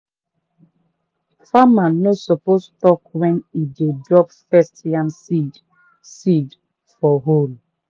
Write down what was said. farmer no suppose talk when e dey drop first yam seed seed for hole.